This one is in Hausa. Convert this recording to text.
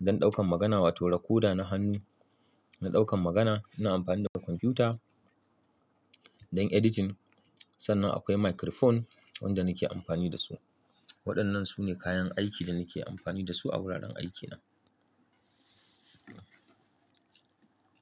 don ɗaukan magana wato recorder na hannu, na ɗaukan magana, ina amfani da kwamfiyuta don editing sannan akwai microphone wanda nake amfani dasu. Waɗannan sune kayan aiki da nake amfani dasu a wuraren aikina.